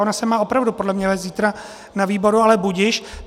Ona se má opravdu podle mě vést zítra na výboru, ale budiž.